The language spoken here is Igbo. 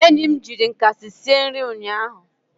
enyi m jiri nkasi sie nri ụnyaahụ